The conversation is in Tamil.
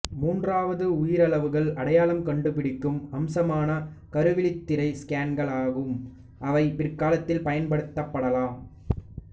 மூன்றாவது உயிரியளவுகள் அடையாளம் கண்டுபிடிக்கும் அம்சமான கருவிழித்திரை ஸ்கேன்கள் ஆகும் அவை பிற்காலத்தில் பயன்படுத்தப்படலாம்